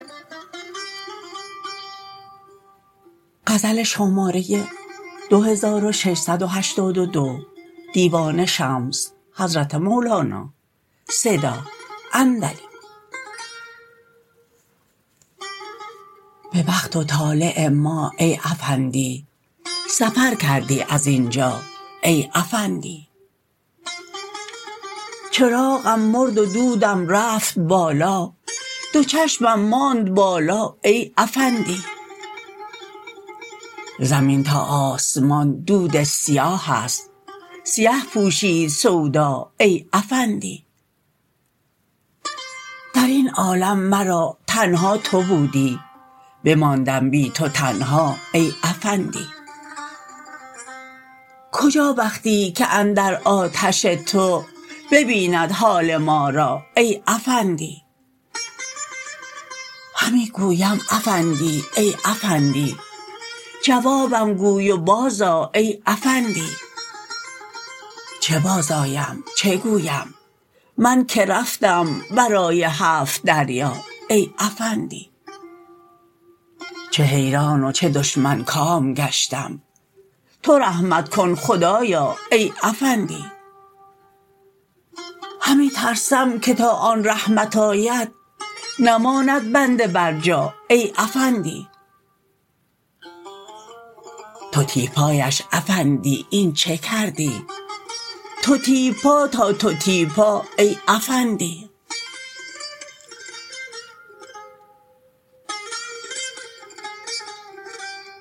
به بخت و طالع ما ای افندی سفر کردی از این جا ای افندی چراغم مرد و دودم رفت بالا دو چشمم ماند بالا ای افندی زمین تا آسمان دود سیاه ست سیه پوشید سودا ای افندی در این عالم مرا تنها تو بودی بماندم بی تو تنها ای افندی کجا بختی که اندر آتش تو ببیند حال ما را ای افندی همی گویم افندی ای افندی جوابم گوی و بازآ ای افندی چه بازآیم چه گویم من که رفتم ورای هفت دریا ای افندی چه حیران و چه دشمن کام گشتم تو رحمت کن خدایا ای افندی همی ترسم که تا آن رحمت آید نماند بنده برجا ای افندی تتیپایش افندی این چه کردی تتیپا ثا تتیپا ای افندی